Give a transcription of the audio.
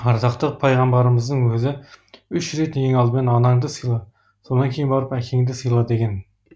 ардақты пайғамбарымыздың өзі үш рет ең алдымен анаңды сыйла содан кейін барып әкеңді сыйла деген